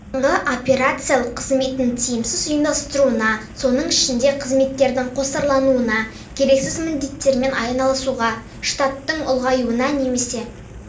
сайынғы операциялық қызметін тиімсіз ұйымдастыруына соның ішінде қызметтердің қосарлануына керексіз міндеттермен айналысуға штаттың ұлғаюына немесе